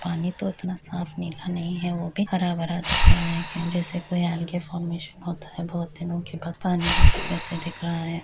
पानी तो उतना साफ नीला नहीं है वह भी हरा-भरा दिख रहा है जैसे कोई आगे फार्मेशन होता है बहुत दिनों के बाद पानी होता है वैसे दिख रहा है।